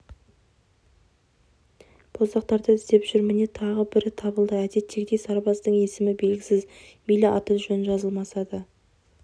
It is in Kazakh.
боздақтарды іздеп жүр міне тағы бірі табылды әдеттегідей сарбаздың есімі белгісіз мейлі аты-жөні жазылмаса да